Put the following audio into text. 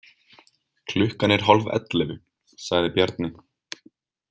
Klukkan er hálfellefu, sagði Bjarni.